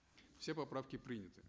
все поправки приняты